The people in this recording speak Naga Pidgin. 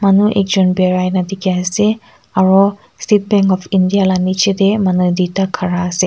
ro ekjun birai na dikhi ase aro State bank of India la niche tey manu duita khara ase.